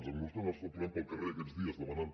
els acnurs que anem trobant pel carrer aquests dies demanant